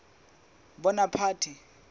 bonaparte